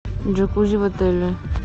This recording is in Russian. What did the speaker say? джакузи в отеле